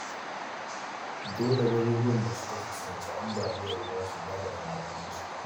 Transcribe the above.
Dole garuruwan da suka fuskanci ambaliyar ruwa su gyara dama-damansu.